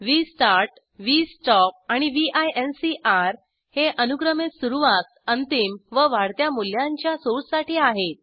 vstart V stop आणि व्हिंकर हे अनुक्रमे सुरवात अंतिम व वाढत्या मूल्यांच्या सोर्ससाठी आहेत